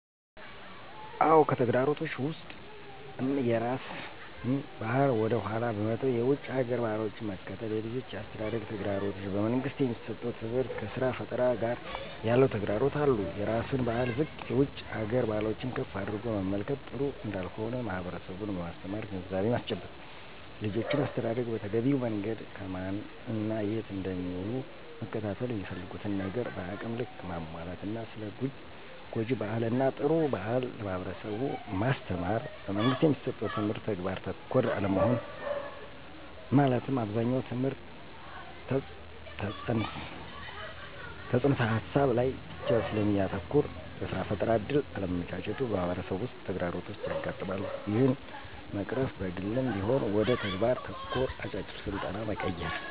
አዎ! ከተግዳሮቶች ውስጥም የራስን ባህል ወደ ኃላ በመተው የውጭ ሀገር ባህሎችን መከተል፣ የልጆች የአስተዳደግ ተግዳሮቶች፣ በመንግስት የሚሠጠው ትምህርት ከስራ ፈጠራ ጋር ያለው ተግዳሮቶች አሉ። -የራስን ባህል ዝቅ የውጭ ሀገር ባህሎችን ከፍ አድርጎ መመልከት ጥሩ እንዳልሆነ ማህበረሠቡን በማስተማር ግንዛቤ ማስጨበጥ። -የልጆችን አስተዳደግ በተገቢው መንገድ ከማን እና የት እንደሚውሉ መከታተል፣ የሚፈልጉትን ነገር በአቅም ልክ ማሟላት እና ስለ ጉጅ ባህል እና ጥሩ ባህል ለማህበረሠቡ ማስተማር። - በመንግስት የሚሠጠው ትምህርት ተግባር ተኮር አለመሆን መለትም አብዛኛው ትምህርት ተፅንስ ሀሳብ ላይ ብቻ ስለሚያተኩር ለስራ ፈጠራ እድል አለማመቻቸቱ በማህበረሠቡ ውስጥ ተግዳሮቶች ያጋጥማሉ። ይህን ለመቅረፍ በግልም ቢሆን ወደ ተግባር ተኮር አጫጭር ስልጠና መቀየር።